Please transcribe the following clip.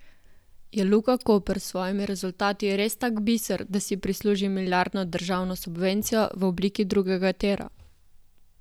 Je Luka Koper s svojimi rezultati res tak biser, da si zasluži milijardno državno subvencijo v obliki drugega tira?